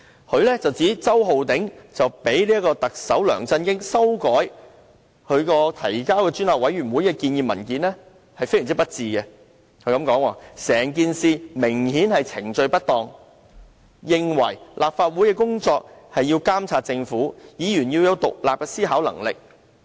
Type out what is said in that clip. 她指周浩鼎議員讓特首梁振英修改其提交專責委員會的建議文件非常不智，"整件事明顯是程序不當"；她認為立法會的工作是要監察政府，議員要有獨立的思考能力。